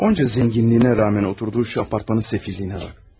O qədər var-dövlətinə baxmayaraq, oturduğu bu mənzilin səfalətinə bax.